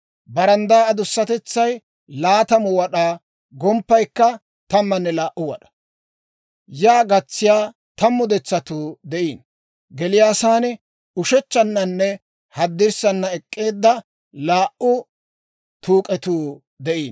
Baranddaa adusatetsay 20 wad'aa; gomppaykka 12 wad'aa. Yaa gatsiyaa 10 detsatuu de'iino. Geliyaasan ushechchannanne haddirssana ek'k'eedda laa"u tuuk'etuu de'iino.